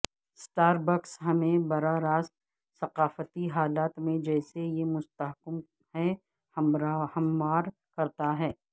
Starbucks ہمیں براہ راست ثقافتی حالات میں جسے یہ مستحکم ہے ہموار کرتا ہے